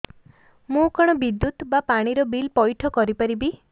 ମୁ କଣ ବିଦ୍ୟୁତ ବା ପାଣି ର ବିଲ ପଇଠ କରି ପାରିବି